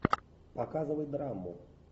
показывай драму